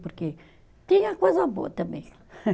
Porque tinha coisa boa também.